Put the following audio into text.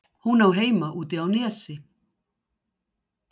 Hún á heima úti á Nesi?